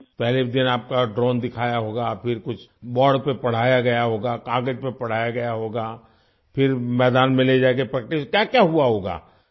پہلے دن آپ کو ڈرون دکھایا ہوگا، پھر بورڈ پر کچھ پڑھایا ہوگا، کاغذ پر پڑھایا ہوگا، پھر میدان میں لے جاکر پریکٹس ، کیا کیا ہوا ہوگا